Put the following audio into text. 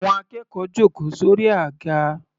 Àwọn akẹ́kọ̀ọ́ jòkó sórí àga.